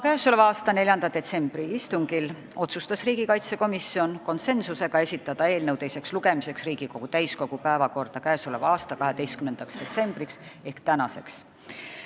Oma 4. detsembri istungil otsustas riigikaitsekomisjon konsensusega esitada eelnõu teiseks lugemiseks täiskogu päevakorda 12. detsembriks ehk tänaseks.